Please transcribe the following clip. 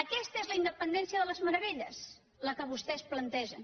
aquesta és la independència de les meravelles la que vostès plantegen